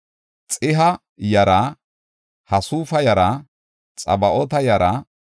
Baqibuuqa yara, Haqufa yara, Harhura yara,